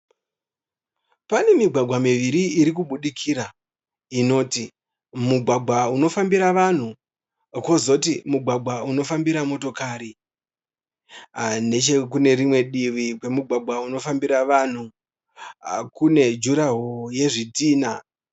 Pane migwagwa miviri iri kubudikira, inoti; mugwagwa unofambira vanhu kozoti mugwagwa unofambira motokari, nechekunerimwe divi kwemugwagwa kunofambira vanhu kune 'durawall' yezvitina.